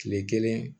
Kile kelen